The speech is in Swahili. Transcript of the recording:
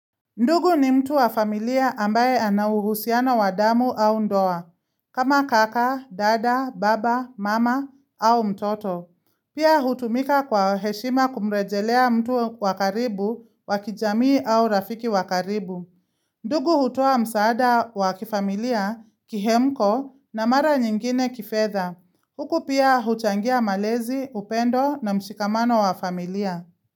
Ndugu ni mtu wa familia ambaye anauhusiano wadamu au ndoa, kama kaka, dada, baba, mama au mtoto. Pia hutumika kwa heshima kumrejelea mtu wakaribu wakijamii au rafiki wakaribu. Ndugu hutoa msaada wakifamilia kihemko na mara nyingine kifedha. Huku pia huchangia malezi, upendo na mshikamano wa familia.